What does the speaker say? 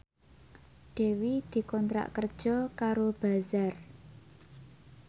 Dewi dikontrak kerja karo Bazaar